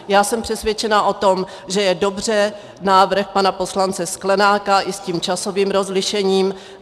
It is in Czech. Já jsem přesvědčena o tom, že je dobře návrh pana poslance Sklenáka i s tím časovým rozlišením.